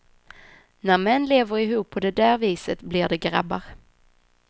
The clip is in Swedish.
När män lever ihop på det där viset blir de grabbar.